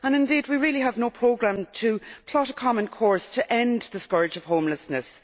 and, indeed, we really have no programme to plot a common course to end the scourge of homelessness.